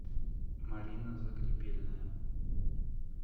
марина загребельная